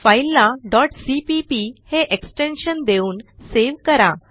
फाईलला cpp हे extension देऊन सावे करा